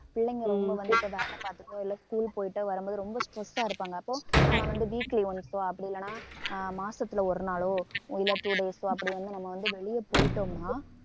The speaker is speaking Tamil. பிள்ளைங்க ரொம்ப வந்து இப்ப வேலை பார்த்துட்டோ இல்லை school போயிட்டு வரும்போது ரொம்ப stress ஆ இருப்பாங்க அப்போ நம்ம வந்து weekly once ஒ அப்படி இல்லைன்னா ஆஹ் மாசத்துல ஒரு நாளோ இல்லை two days ஒ அப்படி வந்து நம்ம வந்து வெளியே போயிட்டோம்ன்னா